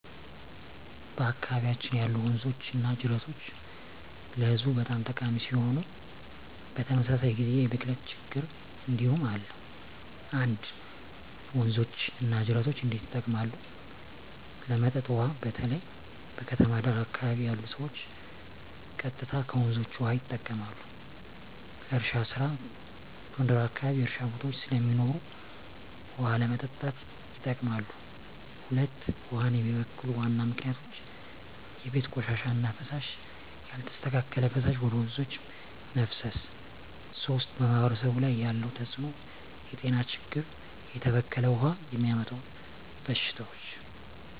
በአካባቢያችን ያሉ ወንዞችና ጅረቶች ለህዝቡ በጣም ጠቃሚ ሲሆኑ፣ በተመሳሳይ ጊዜ የብክለት ችግኝ እንዲሁም አለ። 1. ወንዞች እና ጅረቶች እንዴት ይጠቀማሉ? ለመጠጥ ውሃ: በተለይ በከተማ ዳር አካባቢ ያሉ ሰዎች ቀጥታ ከወንዞች ውሃ ይጠቀማሉ። ለእርሻ ስራ: ጎንደር አካባቢ የእርሻ ቦታዎች ስለሚኖሩ ውሃ ለማጠጣት ይጠቀማሉ። 2. ውሃን የሚበክሉ ዋና ምክንያቶች የቤት ቆሻሻ እና ፍሳሽ: ያልተስተካከለ ፍሳሽ ወደ ወንዞች መፍሰስ 3. በማህበረሰብ ላይ ያለው ተጽዕኖ የጤና ችግኝ: የተበከለ ውሃ የሚያመጣው በሽታዎች